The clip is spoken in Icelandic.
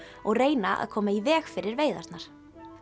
og reyna að koma í veg fyrir veiðarnar